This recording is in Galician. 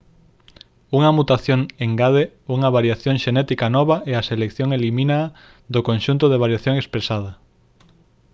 unha mutación engade unha variación xenética nova e a selección elimínaa do conxunto de variación expresada